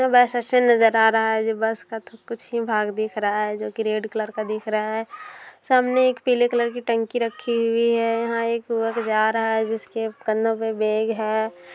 यह बस का कुछ ही भाग दिख रहा है जो की रेड कलर का है सामने एक पीले कलर की टंकी रखी हुई है जसिके कंधो पे बैग है|